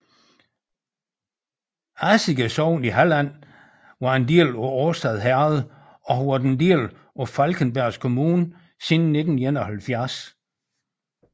Asige sogn i Halland var en del af Årstad herred og har været en del af Falkenbergs kommun siden 1971